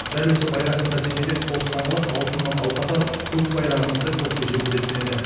дәл осы байрақты бәсекеде қос саңлақ алтыннан алқа тағып көк байрағымызды көкте желбіреткен еді